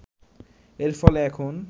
এর ফলে এখন